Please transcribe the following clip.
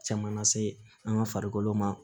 Caman lase an ka farikolo ma